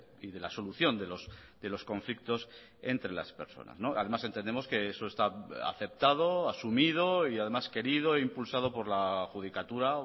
y de la solución de los conflictos entre las personas además entendemos que eso está aceptado asumido y además querido e impulsado por la judicatura